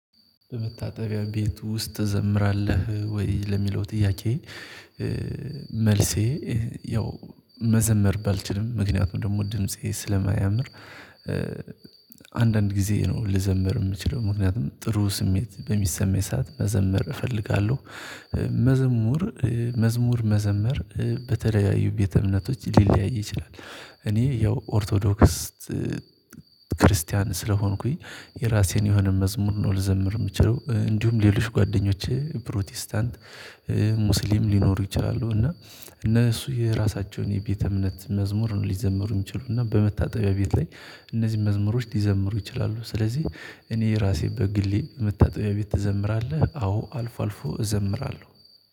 በመታጠቢያ ቤት ውስጥ ትዘምራለህ ወይ ለሚለው ጥያቄ? መልሴ ያው መዘመር ባልችልም ምክንያቱም ደግሞ ድምፄ ስለማያምር። አንዳንድ ጊዜ ነው ልዘምር የምችለው ምክንያቱም ጥሩ ስሜት በሚሰማኝ ሰዓት መዘምር እፈልጋለሁ። መዘሙር መዝሙር መዘመር በተለያዩ ቤተ እምነቶች ሊለያይ ይችላል። እኔ ያው ኦርቶዶክስ ክርስቲያን ስለሆንኩኝ። የራሴን የሆነ መዝሙር ነው ልዘምር የምችለው እንዲሁም ሌሎች ጓደኞቼ ፕሮቴስታንት ሙስሊም ሊኖሩ ይችላሉ። እና እነሱ የራሳቸውን የቤተ እምነት መዝሙር ሊዘምሩ የሚችሉና በመታጠቢያ ቤት ላይ እነዚህን መዝሙሮች ሊዘምሩ ይችላሉ። ስለዚህ እኔ ራሴ በግሌ መታጠቢያ ቤት ትዘምራለህ? አዎ አልፎ አልፎ እዘምራለሁ